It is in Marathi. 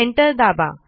एंटर दाबा